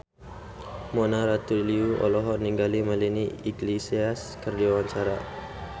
Mona Ratuliu olohok ningali Melanie Iglesias keur diwawancara